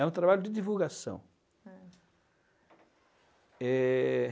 É um trabalho de divulgação. É. Eh...